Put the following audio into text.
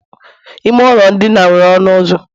ime ụlọ ndina nwere ọnụ ụzọ